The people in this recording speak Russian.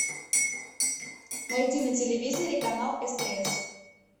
найди на телевизоре канал стс